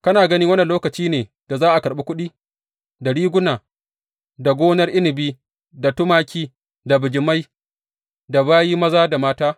Kana gani wannan lokaci ne da za a karɓi kuɗi, da riguna, da gonar inabi, da tumaki, da bijimai, da bayi maza da mata?